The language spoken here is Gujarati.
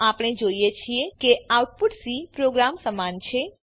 તો આપણે જોઈએ છીએ કે આઉટપુટ સી પ્રોગ્રામ સમાન છે